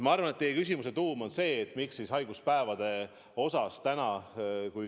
Ma arvan, et teie küsimuse tuum on see, miks me haiguspäevade osas ei ole läinud täieliku hüvitamise peale.